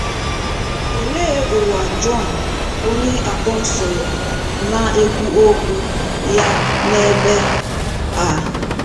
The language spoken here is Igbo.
Olee ụwa Jọn onye apọsụlụ na - ekwu okwu ya n’ebe a?